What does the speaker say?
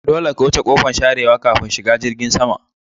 Dolle ka wuce ƙofan sharewa ƙafin shiga jirgin sama.